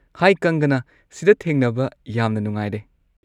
ꯍꯥꯏ ꯀꯪꯒꯅꯥ, ꯁꯤꯗ ꯊꯦꯡꯅꯕ ꯌꯥꯝꯅ ꯅꯨꯡꯉꯥꯏꯔꯦ꯫